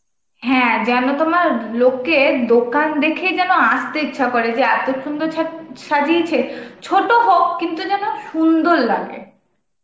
হ্যাঁ যেন তোমার লোকের দোকান দেখেই যেন আসতে ইচ্ছা করে যে এত সুন্দর ছা~ সা~ সাজিয়েছে, ছোট হোক কিন্তু যেন সুন্দর লাগে.